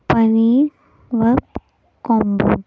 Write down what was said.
पनीर व कॉंबो --